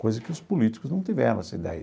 Coisa que os políticos não tiveram, essa ideia.